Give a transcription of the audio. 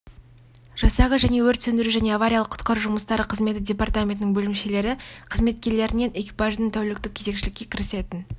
жасағы және өрт сөндіру және авариялық-құтқару жұмыстары қызметі департаменттің бөлімшелері қызметкерлерінен экипаждың тәуліктік кезекшілікке кірісетін